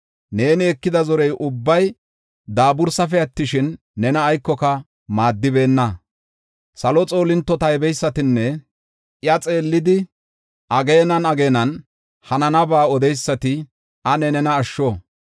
Neeni ekida zorey ubbay daabursafe attishin, nena aykoka maaddibeenna. Salo xoolinto taybeysatinne iya xeellidi ageenan ageenan hananaba odeysati ane nena asho.